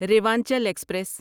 Rewanchal express